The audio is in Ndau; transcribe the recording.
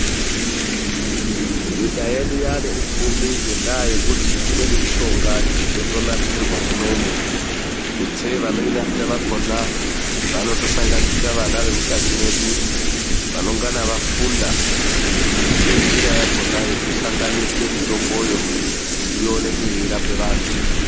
NYIKA YEDU YAANE UPFUMI NGENDAA YEKUTI IMWENI MISHONGA YOTONASIRIRWE MUNOMU. TUTSEI VANOINASIRA VAKONA VANOTOSANGANISIRA VANA WEMUKANYI MWEDU. VANONGANA VAFUNDA NGENJIRA YAKONA YEKUSANGANISE MITOMBOYO KUTI IONEKE YEI RAPA VANTU.